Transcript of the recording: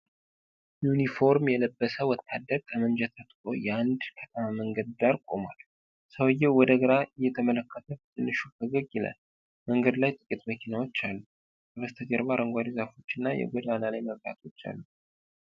ዩኒፎርም የለበሰ ወታደር በጠመንጃ ታጥቆ የአንድ ከተማ መንገድ ዳር ቆሟል። ሰውዬው ወደ ግራ እየተመለከተ በትንሹ ፈገግ ይላል፤ መንገድ ላይ ጥቂት መኪናዎች አሉ። ከበስተጀርባ አረንጓዴ ዛፎች እና የጎዳና ላይ መብራቶች አሉ።